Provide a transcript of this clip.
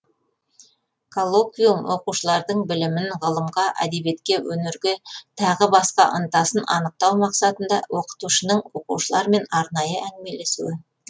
коллоквиум оқушылардың білімін ғылымға әдебиетке өнерге тағы басқа ынтасын анықтау мақсатында оқытушының оқушылармен арнайы әңгімелесуі